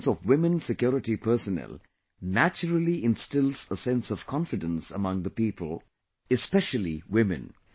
The presence of women security personnel naturally instills a sense of confidence among the people, especially women